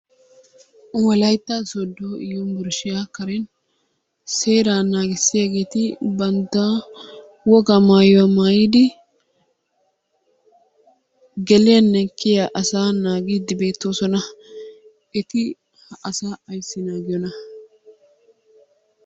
Wolaytta Sooddo Yunbburshiya karen seeraa naagissiyaageeti bantta woga maayuwa maayyidi gelliyanne kiyyiya asaa nanggidi beettoosona. Eti asaa ayssi naagiyoona?